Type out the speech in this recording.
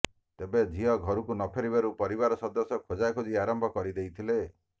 ତେବେ ଝିଅ ଘରକୁ ନଫେରିବାରୁ ପରିବାର ସଦସ୍ୟ ଖୋଜାଖୋଜି ଆରମ୍ଭ କରିଦେଇଥିଲେ